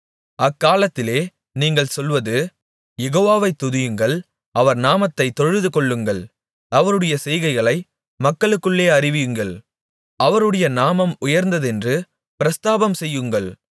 அக்காலத்திலே நீங்கள் சொல்வது யெகோவாவை துதியுங்கள் அவர் நாமத்தைத் தொழுதுகொள்ளுங்கள் அவருடைய செய்கைகளை மக்களுக்குள்ளே அறிவியுங்கள் அவருடைய நாமம் உயர்ந்ததென்று பிரஸ்தாபம் செய்யுங்கள்